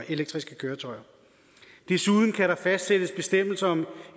elektriske køretøjer desuden kan der fastsættes bestemmelser om